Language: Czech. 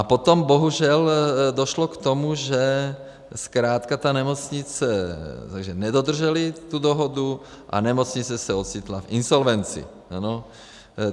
A potom bohužel došlo k tomu, že zkrátka ta nemocnice nedodržela tu dohodu a nemocnice se ocitla v insolvenci.